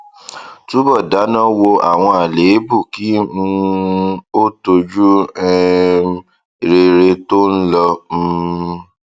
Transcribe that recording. túbọ dáná wo àwọn àléébù kí um o tọjú um rere tó ń lọ um